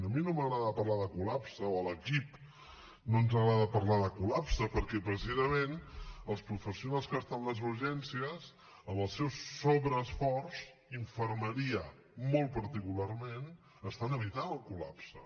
a mi no m’agrada parlar de col·lapse o a l’equip no ens agrada parlar de col·lapse perquè precisament els professionals que estan a les urgències amb el seu sobreesforç infermeria molt particularment estan evitant el col·lapse